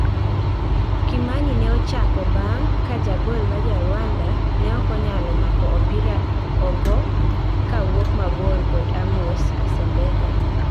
Kimani ne ochako bang ka jagol ma Jarwanda ne okonyalo mako opira ogo ka wuok mabor kod Amos Asembeka